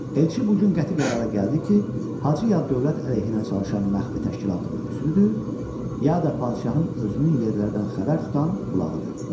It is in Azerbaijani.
Elçi bu gün qəti qərara gəldi ki, Hacı Yad dövlət əleyhinə çalışan məxfi təşkilatın üzvüdür, ya da padşahın özünün yerlərdən xəbər tutan qulağıdır.